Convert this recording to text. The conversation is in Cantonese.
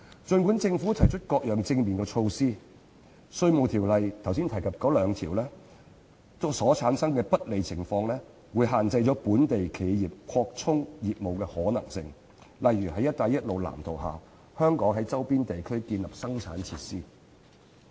儘管政府提出各樣正面措施，但我剛才提及《稅務條例》的那兩項條文所產生的不利情況，會限制本地企業擴充業務的可能性，例如在"一帶一路"藍圖下於香港周邊地區建立生產設施。